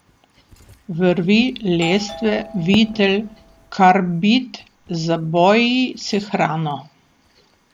Vrvi, lestve, vitel, karbid, zaboji s hrano.